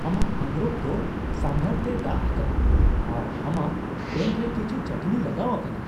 ᱟᱢᱟᱜ ᱟᱸᱜᱨᱚᱯ ᱫᱚ ᱥᱟᱢᱵᱷᱟᱨ ᱛᱮ ᱫᱟᱜ ᱟᱠᱟᱱᱼᱟ ᱟᱨ ᱟᱢᱟᱜ ᱯᱮᱱᱴ ᱨᱮ ᱠᱤᱪᱷᱩ ᱪᱟᱹᱴᱱᱤ ᱞᱟᱜᱟᱣ ᱟᱠᱟᱱᱟ ᱾